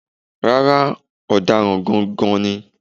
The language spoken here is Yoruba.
Rárá, Ọ̀daràn gangan ni.